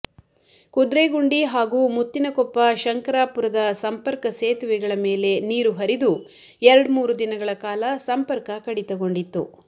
ಕುದ್ರೇಗುಂಡಿ ಹಾಗೂ ಮುತ್ತಿನಕೊಪ್ಪ ಶಂಕರಾಪುರದ ಸಂಪರ್ಕ ಸೇತುವೆಗಳ ಮೇಲೆ ನೀರು ಹರಿದು ಎರಡ್ಮೂರು ದಿನಗಳ ಕಾಲ ಸಂಪರ್ಕ ಕಡಿತಗೊಂಡಿತ್ತು